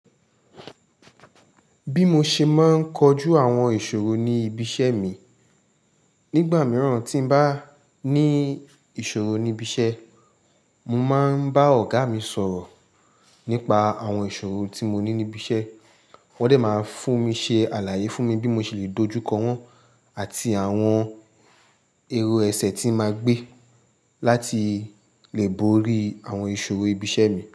Bí mo ṣe máa ń kojú àwọn ìṣòro ní ibi iṣẹ́ mi. Nígbà mìíràn tí bá ní ìṣòro níbi iṣẹ́, mo máa ń bá ọ̀gá mi sọ̀rọ̀ nípa àwọn ìṣòro tí mo ní níbi iṣẹ́. Wọ́n de máa fún mi ṣe àlàyé fún mi bí mo ṣe lè dojúkọ wọ́n àti àwọn èrò ẹsẹ̀ tí máa gbé láti lè borí àwọn ìṣòro ibi iṣẹ́ mi.